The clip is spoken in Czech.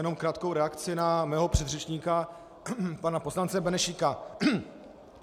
Jenom krátkou reakci na mého předřečníka pana poslance Benešíka.